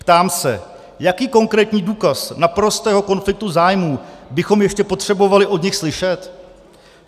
Ptám se, jaký konkrétní důkaz naprostého konfliktu zájmů bychom ještě potřebovali od nich slyšet?